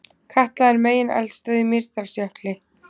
Katla er megineldstöð í Mýrdalsjökli.